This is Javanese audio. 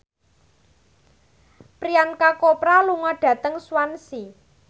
Priyanka Chopra lunga dhateng Swansea